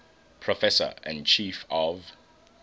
professor and chief of